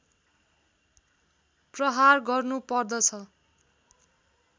प्रहार गर्नु पर्दछ